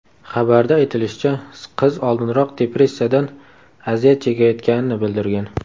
Xabarda aytilishicha, qiz oldinroq depressiyadan aziyat chekayotganini bildirgan.